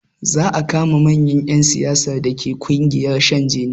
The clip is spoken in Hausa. Za a kama manyan ƴan siyasar dake ƙungiyar shan jini